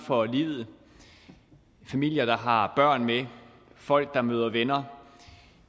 for livet familier der har børn med folk der møder venner